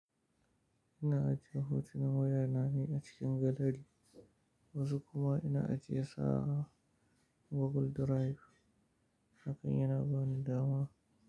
Ina ajiye hotunan wayar na ne a cikin galeri, wasu kuma ina ajiye su a Google Drive, hakan yana bani dama.